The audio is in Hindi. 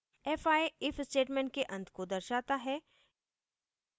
fi if statement के अंत को दर्शाता है